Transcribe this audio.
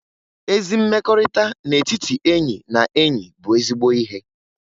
Ezi mmekọrịta n'etiti enyi na enyi bụ ezigbo ihe